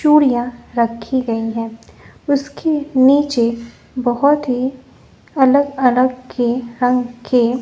चूरियां रखी गई हैं उसकी नीचे बहोत ही अलग-अलग के रंग के --